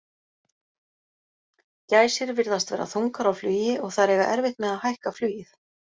Gæsir virðast vera þungar á flugi og þær eiga erfitt með að hækka flugið.